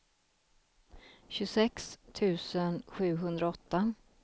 tjugosex tusen sjuhundraåtta